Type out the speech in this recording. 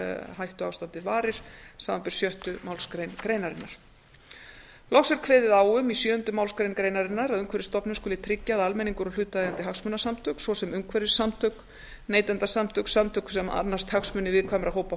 hættuástandið varir samanber sjöttu málsgrein greinarinnar loks er kveðið á um í sjöunda málsgrein greinarinnar að umhverfisstofnun skuli tryggja að almenningur og hlutaðeigandi hagsmunasamtök svo sem umhverfissamtök neytendasamtök samtök sem annast hagsmuni viðkvæmra hópa